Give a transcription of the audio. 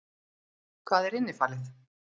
Hvað er innifalið?